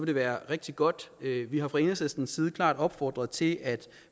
det være rigtig godt vi har fra enhedslistens side klart opfordret til at